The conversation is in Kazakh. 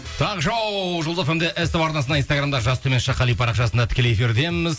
таңғы шоу жұлдыз фм де ств арнасында инстаграмда жас қали парақшасында тікелей эфирдеміз